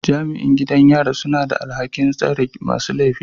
Jami'in gidan yari suna da alhakin tsare masu laifi